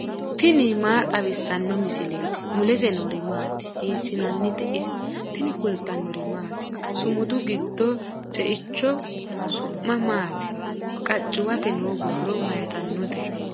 tini maa xawissanno misileeti ? mulese noori maati ? hiissinannite ise ? tini kultannori maati? Sumudu giddo ceichcho su'mi maati? qachuwatte noo borro mayiittanotte?